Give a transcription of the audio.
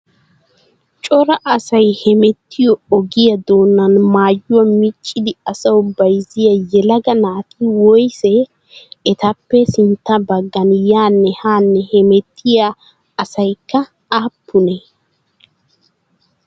Cora asay hemettiyo ogiyaa doonan maayyuwaa miccidi asawu bayizziyaa yelaga naati woyisee? Etappa sintta baggan yaanne haanne hemettiya asyikka aappunee?